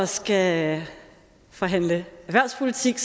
skal forhandle erhvervspolitik